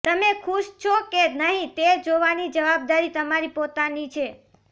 તમે ખુશ છો કે નહીં તે જોવાની જવાબદારી તમારી પોતાની છે